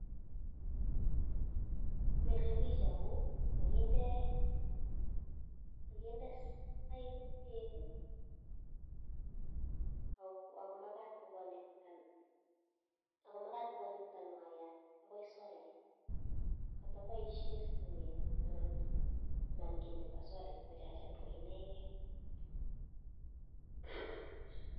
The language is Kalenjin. Milepiich amun kakindeeee peeek akomagat kokonectan wayat ako magat koinegeii